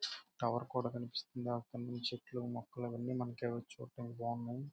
Tower కూడా కనిపిస్తుంది. అక్కడ నుంచి మొక్కలు చెట్లు చూడ్డానికి చాలా బాగున్నాయి.